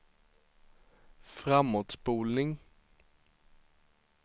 framåtspolning